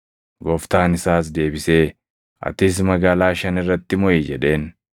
“Gooftaan isaas deebisee, ‘Atis magaalaa shan irratti moʼi’ jedheen.